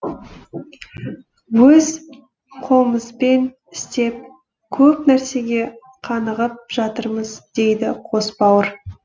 өз қолымызбен істеп көп нәрсеге қанығып жатырмыз дейді қос бауыр